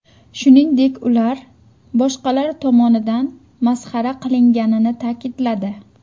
Shuningdek, ular boshqalar tomonidan masxara qilinganini ta’kidladi.